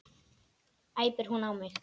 æpir hún á mig.